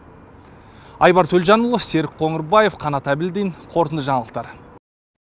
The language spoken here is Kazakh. айбар төлжанұлы серік қоңырбаев қанат әбілдин қорытынды жаңалықтар